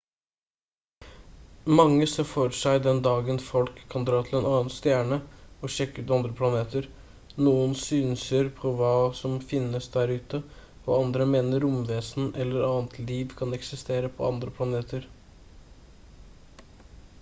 mange ser for seg den dagen folk kan dra til en annen stjerne og sjekke ut andre planeter noen synser på hva som finnes der ute og andre mener romvesener eller annet liv kan eksistere på andre planeter